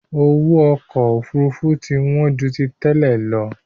Owó ọkọ Òfurufú ti wọn ju tí tẹ́lẹ̀ lọ